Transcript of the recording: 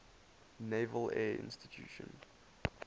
naval air station